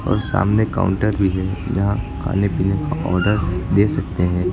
और सामने काउंटर भी है जहां खाने पीने का ऑर्डर दे सकते हैं।